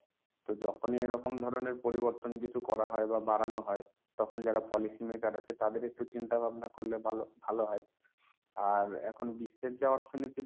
তো যখনই এরকম ধরনের পরিবর্তন কিছু করা হয় বা বাড়ানো হয়, তখনই যারা policy maker আছে তাদের একটু চিন্তা ভাবনা করলে ভা~ ভালো হয়। আর এখন বিশ্বের যা অর্থনীতি,